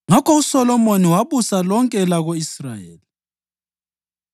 Ngakho uSolomoni wabusa lonke elako-Israyeli.